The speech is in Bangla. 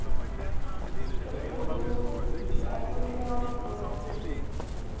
phone এখনই দেওয়াটা তো ঠিক হয় নাই।